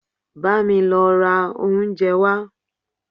Bámi lọ ra oúnjẹ wá!